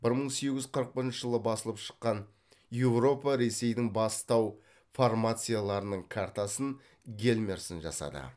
бір мың сегіз жүз қырық бірінші жылы басылып шыққан еуропа ресейдің бас тау формацияларының картасын гельмерсен жасады